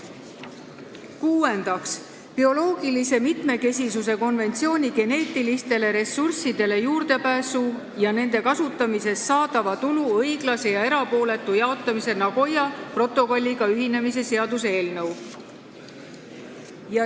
Kuuendaks, bioloogilise mitmekesisuse konventsiooni geneetilistele ressurssidele juurdepääsu ja nende kasutamisest saadava tulu õiglase ja erapooletu jaotamise Nagoya protokolliga ühinemise seaduse eelnõu.